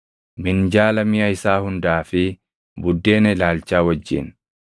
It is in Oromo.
minjaala miʼa isaa hundaa fi buddeena ilaalchaa wajjin;